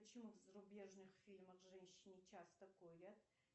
почему в зарубежных фильмах женщины часто курят